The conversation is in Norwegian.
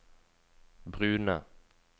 brune